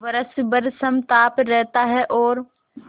वर्ष भर समताप रहता है और